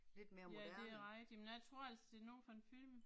Ja det er rigtigt, men jeg tror altså det er noget fra en film